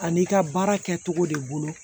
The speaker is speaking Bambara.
Ani i ka baara kɛcogo de bolo